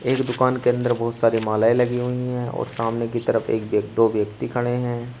एक दुकान के अंदर बहोत सारी मालाएं लगी हुई है और सामने की तरफ एक दो व्यक्ति खड़े हैं।